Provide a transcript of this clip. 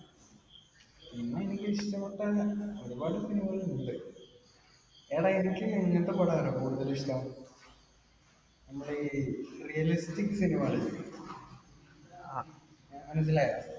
പിന്നെ എനിക്ക് ഇഷ്ടപ്പെട്ട ഒരുപാട് cinema കൾ ഉണ്ട്. എടാ എനിക്ക് എങ്ങിനത്തെ പടാർയോ കൂടുതൽ ഇഷ്ടം? നമ്മടെ ഈ realistic cinema കൾ ഇല്ലേ? മനസ്സിലായോ?